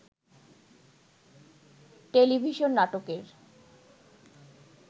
television নাটকের